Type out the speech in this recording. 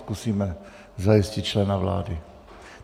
Zkusíme zajistit člena vlády.